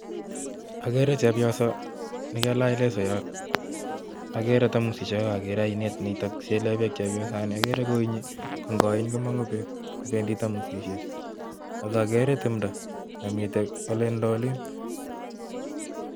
Agere chepyoso nekalach lesoyot, ak agere thamosiek oeng, ak akere ainet nitok nesilen beek chepyoset, agere koinyii ak ingoiny komongu beek, bendii thamosisiek ak agere timdoo nemiten olindoo oliin